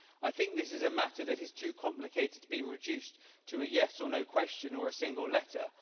I think this is a matter that is too complicated to be reduced to a yes or no question or a single letter